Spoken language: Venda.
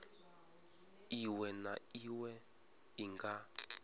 iwe na iwe i nga